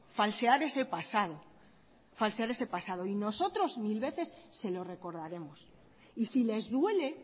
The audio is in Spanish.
falsear ese pasado y nosotros mil veces se lo recordaremos y si les duele